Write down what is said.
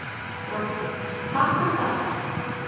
Broddi: Takk fyrir þetta.